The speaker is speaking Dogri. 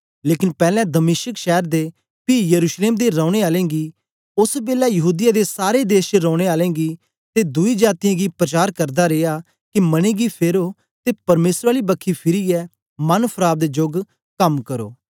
लेकन पैलैं दमिश्क शैर दे पी यरूशलेम दे रौने आलें गी ओस बेलै यहूदीया दे सारे देश च रौने आलें गीं ते दुई जातीयें गी प्रचार करदा रिया के मने गी फेरो ते परमेसर आली बखी फिरीयै मन फराव दे जोग कम करो